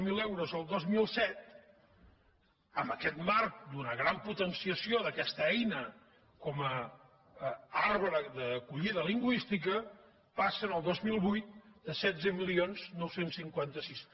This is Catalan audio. zero euros el dos mil set en aquest marc d’una gran potenciació d’aquesta eina com a arbre d’acollida lingüística passen el dos mil vuit a setze mil nou cents i cinquanta sis